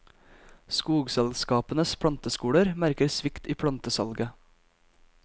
Skogselskapenes planteskoler merker svikt i plantesalget.